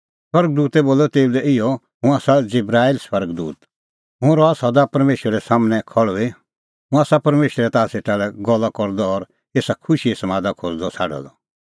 स्वर्ग दूतै बोलअ तेऊ लै इहअ हुंह आसा जिबराईल स्वर्ग दूत और हुंह रहा सदा परमेशरे सम्हनै खल़्हुई हुंह आसा परमेशरै ताह सेटा लै गल्ला करदअ और एसा खुशीए समादा खोज़दअ छ़ाडअ द